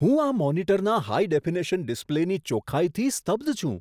હું આ મોનિટરના હાઈ ડેફિનેશન ડિસ્પ્લેની ચોખાઈથી સ્તબ્ધ છું.